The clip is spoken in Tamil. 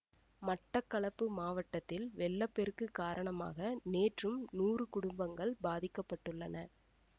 மட்டக்களப்பு மாவட்டத்தில் வெள்ள பெருக்கு காரணமாக நேற்றும் நூறு குடும்பங்கள் பாதிக்க பட்டுள்ளன